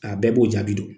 A bɛɛ b'o jaabi dɔn